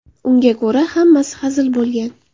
Unga ko‘ra, hammasi hazil bo‘lgan.